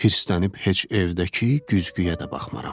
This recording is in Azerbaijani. Hirslənib heç evdəki güzgüyə də baxmaram.